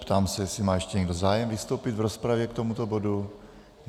Ptám se, jestli má ještě někdo zájem vystoupit v rozpravě k tomuto bodu.